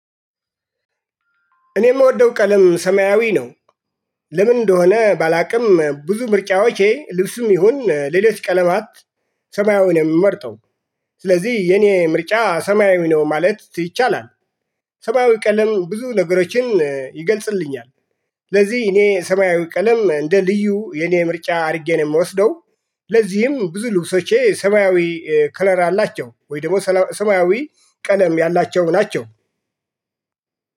እኔ የምወደው ቀለም ሰማያዊ ነው። ለምን እንደሆነ ባላውቅም ብዙ ምርጫዎቼ ልብስም ይሁን ሌሎች ቀለማት ሰማያዊ ነው የምመርጠው። ስለዚህ የኔ ምርጫ ሰማያዊ ነው ማለት ይቻላል። ሰማያዊ ቀለም ብዙ ነገሮችን ይገልጽልኛል። ስለዚህ እኔ ሰማያዊ ቀለም እንደ ልዩ የኔ ምርጫ አድርጌ ነው የምወስደው። ለዚህም ብዙ ልብሶቼ ሰማያዊ ከለር አላቸው ወይ ደግሞ ሰማያዊ ቀለም ያላቸው ናቸው።